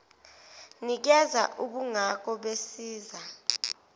nikeza ubungako besiza